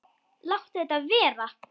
Láttu þetta vera!